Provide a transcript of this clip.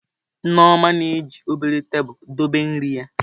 Nneoma na-eji obere tabụl dobe nri ya.